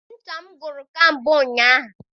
Ncha m gwụrụ kamgbe ụnyaahụ